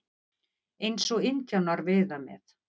Eins og indjánar veiða með.